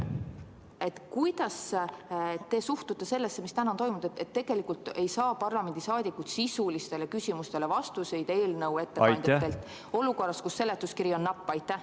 Aga kuidas te suhtute sellesse, mis täna toimub, et tegelikult ei saa parlamendi liikmed sisulistele küsimustele vastuseid eelnõu ettekandjalt, olukorras, kus seletuskiri on napp?